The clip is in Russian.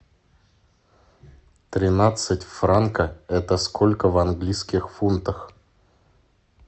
тринадцать франка это сколько в английских фунтах